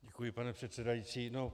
Děkuji, pane předsedající.